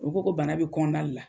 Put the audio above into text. U ko ko bana be kɔnɔna de la